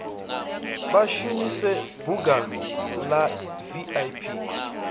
vha shumise bunga la vip